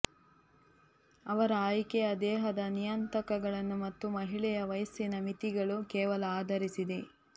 ಅವರ ಆಯ್ಕೆಯ ದೇಹದ ನಿಯತಾಂಕಗಳನ್ನು ಮತ್ತು ಮಹಿಳೆಯ ವಯಸ್ಸಿನ ಮಿತಿಗಳು ಕೇವಲ ಆಧರಿಸಿದೆ